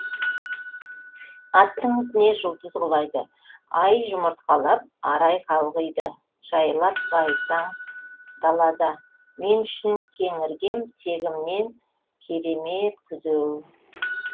аттың ізіне жұлдыздар құлайды ай жұмыртқалап арай қалғиды жайлап байтаң далада мен үшін кең іргем тегімнен кере е мет күзеу